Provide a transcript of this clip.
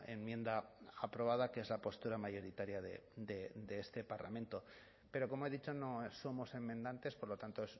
enmienda aprobada que es la postura mayoritaria de este parlamento pero como he dicho no somos enmendantes por lo tanto